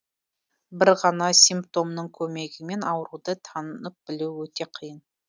бір ғана симптомның көмегімен ауруды танып білу өте қиын